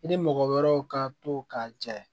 I ni mɔgɔ wɛrɛw ka to k'a jɛ